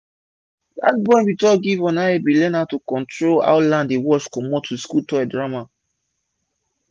dat boy bin talk give on how he bin learn how to control how land dey wash comot with school toy drama